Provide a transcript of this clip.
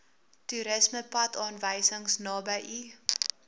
toerismepadaanwysing naby u